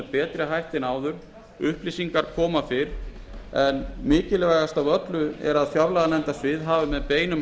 betri hætti en áður upplýsingar koma fyrr en mikilvægast er að fjárlaganefndarsvið hafi með beinum